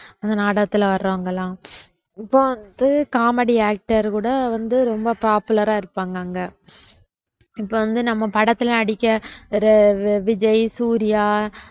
அந்த நாடகத்துல வர்றவங்கெல்லாம் இப்ப வந்து comedy actor கூட வந்து ரொம்ப popular ஆ இருப்பாங்க அங்க இப்ப வந்து நம்ம படத்துல நடிக்க ஒரு விஜய், சூர்யா